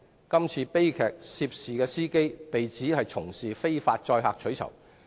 據稱悲劇涉事司機非法載客取酬。